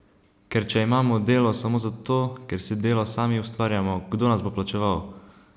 Ker če imamo delo samo zato, ker si delo sami ustvarjamo, kdo nas bo plačeval?